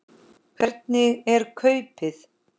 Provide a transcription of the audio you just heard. Hvernig er kaupið?